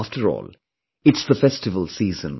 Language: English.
After all, it's the festival season